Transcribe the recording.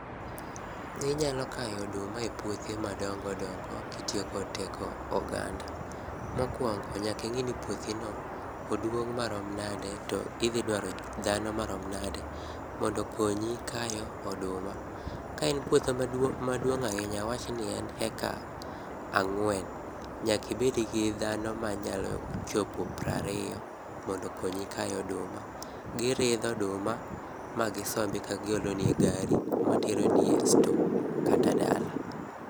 Inyalo kayo oduma epuothe madongo dongo kitiyo kod teko oganda. Mokuongo nyaka ing'e ni puothino oduong' marom nade to idhi dwaro dhano marom nade mondo okonyi kayo oduma. Ka en puodho maduong' ahinya, awach ni en eka ang'wen, nyaka i bed gi dhano manyalo chopo piero ariyo mondo okonyi kayo oduma. Giridho oduma magisombi kagiolo ni e gari materoni e store kata dala.